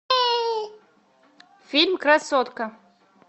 фильм красотка